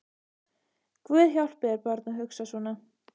Guð hjálpi þér barn að hugsa svona